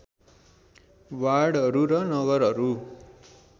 वार्डहरू र नगरहरू